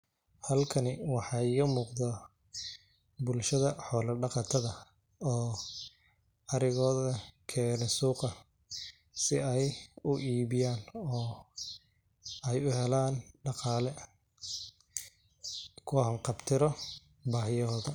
Halkani waxay iga muuqda bulshada xoolo dhaqatada oo arigooda keenay suuqa si ay u iibiyaan oo ay u helaan dhaqaale kuwa ham kabtiro baahiyoodha